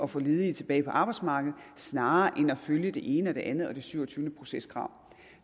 få ledige tilbage på arbejdsmarkedet snarere end at følge det ene og det andet og det syvogtyvende proceskrav